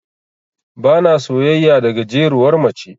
Bana soyayya da gajeruwar mace.